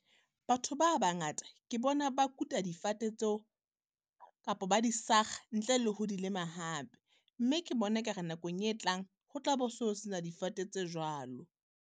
Batho ba bangata ke bona ba kuta difate tseo, kapo ba di sakga ntle leho di lema hape. Mme ke bona e kare nakong e tlang, ho tla bo so se na difate tse jwalo.